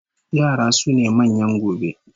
Yara sune manyan gobe